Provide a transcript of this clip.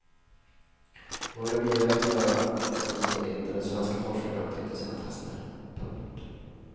Några biverkningar har åtminstone inte de svenska forskarna upptäckt i sina tester. punkt